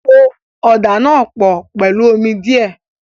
Po ọ̀dà náà pọ̀ pẹ̀lú omi díẹ̀.